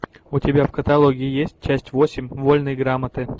у тебя в каталоге есть часть восемь вольной грамоты